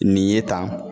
Nin ye tan